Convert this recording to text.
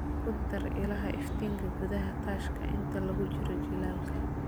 Ku dar ilaha iftiinka gudaha daashka inta lagu jiro jiilaalka.